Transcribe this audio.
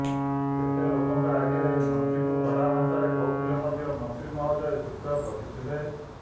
ଏତେ ଲୋକଙ୍କ ଆଗରେ ମନ୍ତ୍ରୀଙ୍କୁ କଡ଼ାଭାଷାରେ କହୁଥିଲେ ମଧ୍ୟ ମନ୍ତ୍ରୀ ମହୋଦୟ ଚୁପଚାପ୍ ବସିଥିଲେ